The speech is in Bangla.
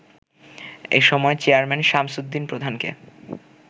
এসময় চেয়ারম্যান শামছুদ্দিন প্রধানকে